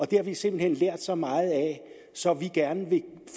det har vi simpelt hen lært så meget af så vi gerne vil